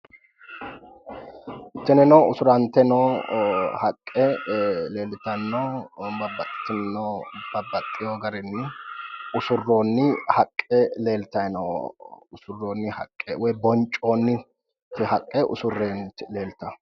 Tinino usurante noo haqqe leellitanno, babbaxitinno garinni usurroonni haqqe leeltayi no. Usurroonni haqqe woyi boncoonni haqqe usurreeti leeltawo.